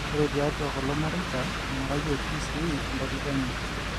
ore tiatua kulo mareita eingurayieki sii entalipa enye